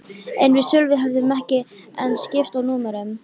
En við Sölvi höfðum ekki enn skipst á númerum.